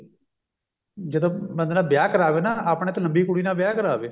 ਜਦੋਂ ਬੰਦੇ ਨਾ ਵਿਆਹ ਕਰਾਵੇ ਨਾ ਆਪਣੇ ਤੋਂ ਲੰਬੀ ਕੁੜੀ ਨਾਲ ਵਿਆਹ ਕਰਾਵੇ